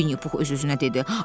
Vinnipux öz-özünə dedi: